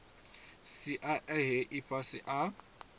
sia a he ifhasi a